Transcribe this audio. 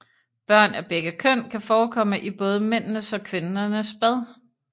Børn af begge køn kan forekomme i både mændenes og kvindernes bad